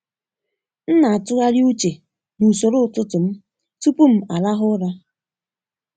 M na-atụgharị uche n’usoro ụtụtụ m tupu m arahụ ụra.